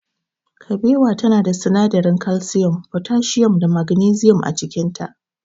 Kabewa tana da sinadaran kalsiyum, fotasiyum da magnisiyum a cikinta.